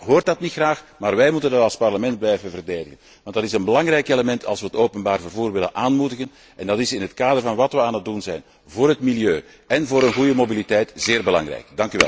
De Raad hoort dat niet graag, maar wij moeten dat als Parlement blijven verdedigen, want dat is een belangrijk element als we het openbaar vervoer willen aanmoedigen. Dit is in het kader van hetgeen we aan het doen zijn voor het milieu en voor een goede mobiliteit zeer belangrijk.